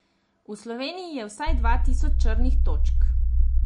V Sloveniji je vsaj dva tisoč črnih točk.